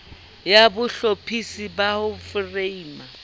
ya bohlophisi ya ho foreima